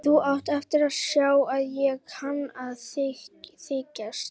Þú átt eftir að sjá að ég kann að þykjast.